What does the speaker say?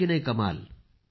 आहे की नाही कमाल